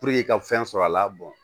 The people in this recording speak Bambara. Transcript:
i ka fɛn sɔrɔ a la bɔn